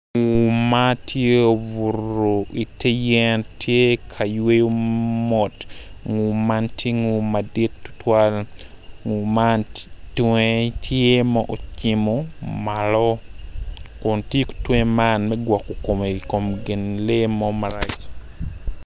Nguu ma tye obuto ite yen tye ka yweyo mot nguu man tye nguu madit tutwal nguu man tunge tye ma ocimo malo kun tiyo ki tunge man me gwoko kome i kom lee mo marac.